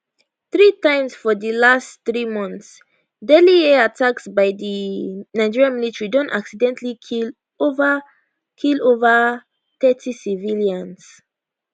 three times for di last three months deadly air attacks by di nigerian military don accidentally kill ova kill ova thirty civilians